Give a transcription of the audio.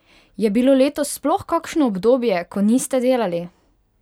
Je bilo letos sploh kakšno obdobje, ko niste delali?